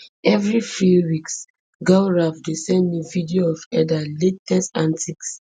evri few weeks gaurav dey send me video of edha latest antics